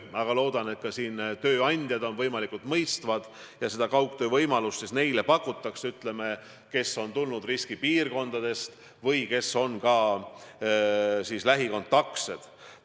Aga loodan, et tööandjad on võimalikult mõistvad ja kaugtöö võimalust pakutakse vähemalt neile, kes on tulnud riskipiirkonnast või kes on nendega lähikontaktis.